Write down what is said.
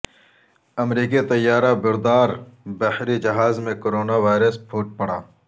امریکی طیارہ بردار بحری جہاز میں کرونا وائرس پھوٹ پڑا